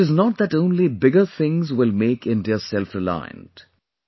And it is not that only bigger things will make India selfreliant